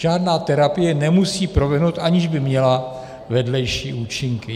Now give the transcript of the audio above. Žádná terapie nemusí proběhnout, aniž by měla vedlejší účinky.